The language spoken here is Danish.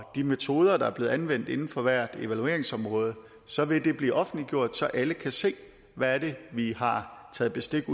de metoder der er blevet anvendt inden for hvert evalueringsområde så vil det blive offentliggjort så alle kan se hvad det er vi har taget bestik